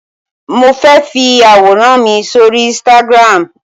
Mo fẹ́ fi àwòrán mi sóri Instagram.